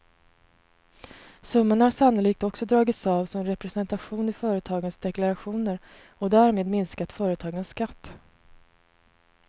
Summan har sannolikt också dragits av som representation i företagens deklarationer och därmed minskat företagens skatt.